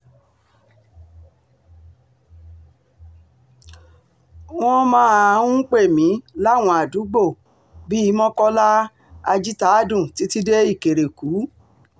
wọ́n um máa ń pè mí láwọn àdúgbò bíi mokola um ajìtàádùn títí dé ìkẹ̀rẹ̀kù